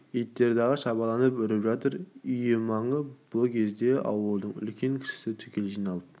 иттер дағы шабаланып үріп жатыр үйі маңына бұ кезде ауылдың үлкен-кішісі түгел жиналып